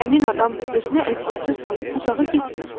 Həmin adam da özünə əziyyətə salıb uzağa getmir.